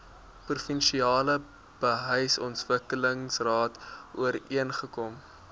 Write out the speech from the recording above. provinsiale behuisingsontwikkelingsraad ooreengekom